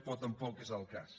però tampoc és el cas